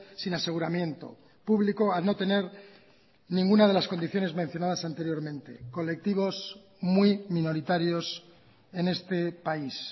sin aseguramiento público al no tener ninguna de las condiciones mencionadas anteriormente colectivos muy minoritarios en este país